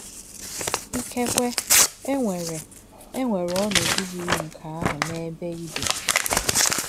Ìkè̄kwè̄ è̄nwerè̄ è̄nwerè̄ ònòdú̄ yiri nkè̄ àhụ̄ n’èbè̄ í bì̄.